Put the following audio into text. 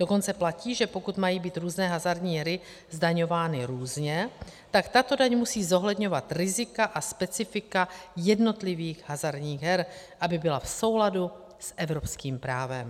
Dokonce platí, že pokud mají být různé hazardní hry zdaňovány různě, tak tato daň musí zohledňovat rizika a specifika jednotlivých hazardních her, aby byla v souladu s evropským právem.